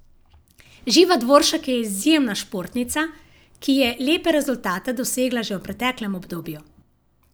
Živa Dvoršak je izjemna športnica, ki je lepe rezultate dosegala že v preteklem obdobju.